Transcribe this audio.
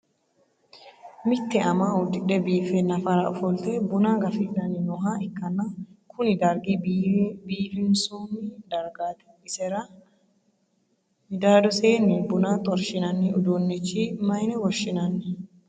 Mitte ama udhidhe biife nafara ofolte bunna gafidhanni nooha ikanna kunni dargi biifinsoonni dargaati isera midaadosenni buunna xorshi'nanni uduunnicho mayine woshinnanni?